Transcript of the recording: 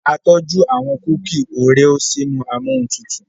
a tọju àwọn kuki Oreo sínú Amóhuntutù.